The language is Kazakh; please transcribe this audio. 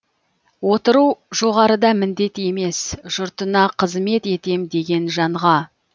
отыру жоғарыда міндет емес жұртына қызмет етем деген жанға